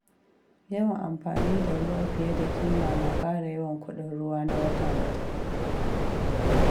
Yawan amfani da ruwa fiye da ƙima na ƙara yawan kuɗin ruwa na wata-wata.